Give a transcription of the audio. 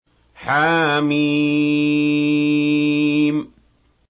حم